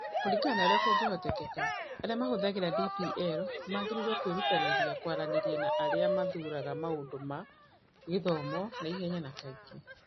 Kũringana na ũrĩa kũngĩhoteka, arĩa mahũthagĩra DPL magĩrĩirũo kwĩrutanĩria kwaranĩria na arĩa mathuuraga maũndũ ma gĩthomo na ihenya, na kaingĩ.